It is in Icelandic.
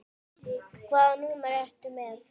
Hvaða númer ertu með?